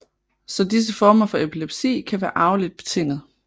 Så disse former for epilepsi kan være arveligt betinget